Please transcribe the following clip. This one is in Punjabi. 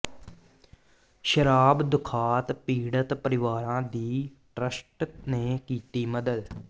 ਸ਼ਰਾਬ ਦੁਖਾਂਤ ਪੀੜਤ ਪਰਿਵਾਰਾਂ ਦੀ ਟਰੱਸਟ ਨੇ ਕੀਤੀ ਮਦਦ